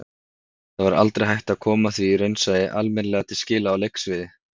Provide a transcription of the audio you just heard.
Það verður aldrei hægt að koma því raunsæi almennilega til skila á leiksviði.